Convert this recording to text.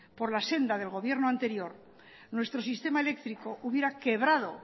por la senda del gobierno anterior nuestro sistema eléctrico hubiera quebrado